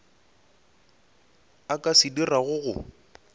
a ka se dirago go